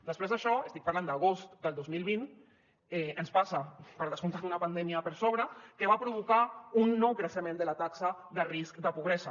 després d’això estic parlant d’agost del dos mil vint ens passa per descomptat una pandèmia per sobre que va provocar un nou creixement de la taxa de risc de pobresa